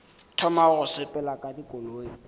thoma go sepela ka dikoloi